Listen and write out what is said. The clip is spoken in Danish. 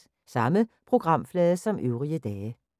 Samme programflade som øvrige dage